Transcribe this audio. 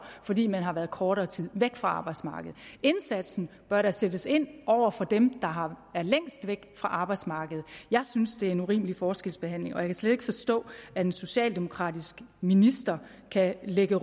fordi man har været kortere tid væk fra arbejdsmarkedet indsatsen bør da sættes ind over for dem der er længst væk fra arbejdsmarkedet jeg synes det er en urimelig forskelsbehandling og jeg kan slet ikke forstå at en socialdemokratisk minister kan lægge